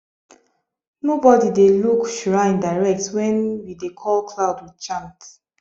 nobody dey look shrine direct when we dey call cloud with chant